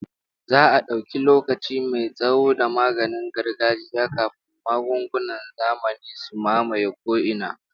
Za a dauki lokaci mai tsawo da maganin gargajiya kafin magungunan zamani su mamaye ko'ina.